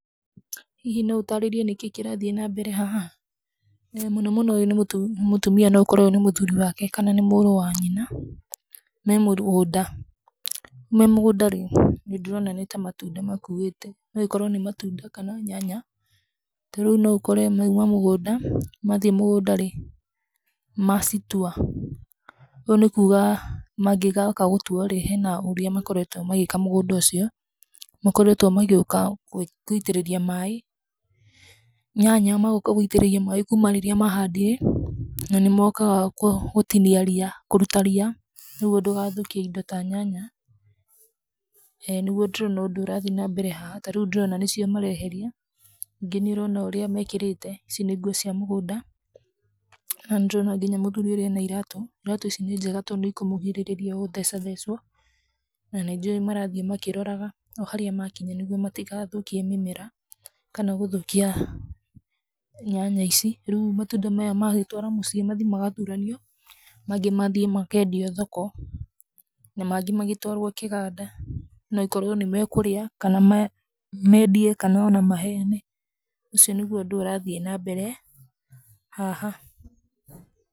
Hihi no ũtaarĩrie nĩkĩĩ kĩrathiĩ na mbere haha? Mũnomũno, ũyũ nĩ mũtumia, nĩ mũtumia no ũkore ũyũ nĩ mũthuri wake kana nĩ mũrũ wa nyina, me mũgũnda. Me mũgũnda rĩ, nĩ ndĩrona nĩ ta matunda makuĩte. No ĩkorwo nĩ matunda, kana nyanya. Ta rĩu no ũkore mauma mũgũnda, mathiĩ mũgũnda rĩ, macitua. Ũyũ nĩ kuuga mangĩga ũka gũtua rĩ, hena ũrĩa makoretwo magĩĩka mũgũnda ũcio. Makoretwo magĩũka gũitĩrĩrĩa maaĩ, nyanya magaũka gũitĩrĩria maaĩ kuuma rĩrĩa maahandire, na nĩ mookaga gũtinia ria, kũruta ria nĩguo ndũgathũkie indo ta nyanya, ĩ, nĩguo ndĩrona ũndũ ũyũ ũrathiĩ nambere. Ta rĩu nĩ ndĩrona nĩcio mareeheria. Ningĩ nĩ ũrona ũrĩa meekĩrĩte, ici nĩ nguo cia mũgũnda. Na nĩ ndĩrona nginya mũthuri ũrĩa ena iratũ. Iratũ icio nĩ njega tondũ nĩ ikũmũgirĩrĩria gũthecathecwo. Na nĩ njũĩ marathiĩ makĩroraga o harĩa maakinya nĩguo matigathũkie mimera, kana gũthũkia nyanya ici. Rĩu matunda maya magĩtwarwo mũciĩ, mathi magathuranio. Mangĩ mathiĩ makeendio thoko, na mangĩ magĩtwarwo kĩganda, no ĩkorwo nĩ mekũria, kana meendie kana o na maheane. Ũcio nĩguo ũndũ ũrathiĩ nambere haha.